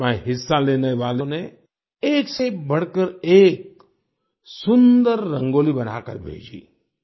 इसमें हिस्सा लेने वालों ने एक से बढ़कर एक सुन्दर रंगोली बनाकर भेजी